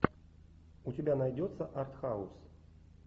у тебя найдется артхаус